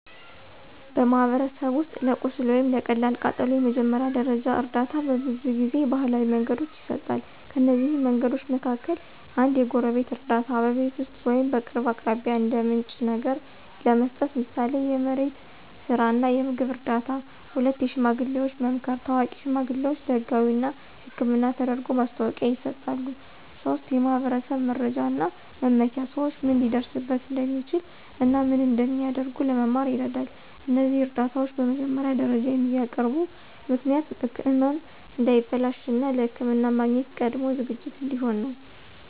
በማኅበረሰብ ውስጥ ለቁስል ወይም ለቀላል ቃጠሎ የመጀመሪያ ደረጃ እርዳታ በብዙ ጊዜ ባህላዊ መንገዶች ይሰጣል። ከእነዚህ መንገዶች መካከል፦ 1. የጎረቤት እርዳታ – በቤት ውስጥ ወይም በቅርብ አካባቢ እንደ ምንጭ ነገር ለመስጠት፣ ምሳሌ የመሬት ስራ እና የምግብ እርዳታ። 2. የሽማግሌዎች መምከር – ታዋቂ ሽማግሌዎች ለህጋዊ እና ሕክምና ተደርጎ ማስታወቂያ ይሰጣሉ። 3. የማኅበረሰብ መረጃ እና መመኪያ – ሰዎች ምን ሊደርስበት እንደሚችል እና ምን እንደሚያደርጉ ለመማር ይረዳል። እነዚህ እርዳታዎች በመጀመሪያ ደረጃ የሚያቀርቡ ምክንያት ህመም እንዳይበላሽ፣ እና ለሕክምና ማግኘት ቀድሞ ዝግጅት እንዲሆን ነው።